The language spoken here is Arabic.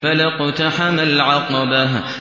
فَلَا اقْتَحَمَ الْعَقَبَةَ